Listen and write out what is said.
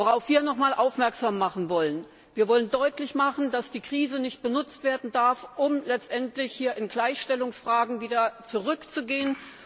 Worauf wir nochmals aufmerksam machen wollen Wir wollen deutlich machen, dass die Krise nicht benutzt werden darf, um letztendlich in Gleichstellungsfragen wieder zurückzugehen.